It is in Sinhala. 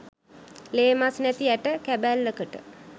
ලේ මස් නැති ඇට කැබැල්ලකට